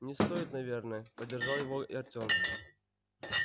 не стоит наверное поддержал его и артём